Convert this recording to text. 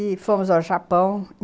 E fomos ao Japão.